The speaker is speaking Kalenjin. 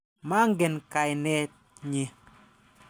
Mangen kainet nyi.